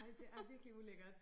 Ej det er virkelig ulækkert